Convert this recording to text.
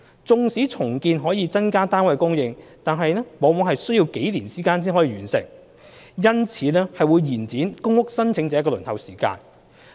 縱使重建可增加單位供應，但是往往需要數年方可完成，因此會延長公屋申請者的輪候時間。